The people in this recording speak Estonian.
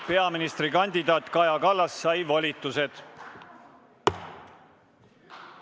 Peaministrikandidaat Kaja Kallas sai volitused.